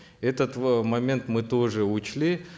этот э момент мы тоже учли